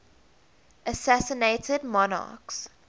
assassinated monarchs